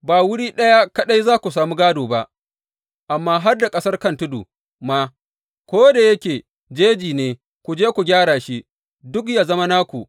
Ba wuri ɗaya kaɗai za ku samu gādo ba, amma har da ƙasar kan tudu ma, ko da yake jeji ne, ku je ku gyara shi, duk yă zama naku.